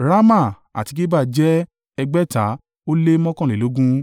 Rama àti Geba jẹ́ ẹgbẹ̀ta ó lé mọ́kànlélógún (621)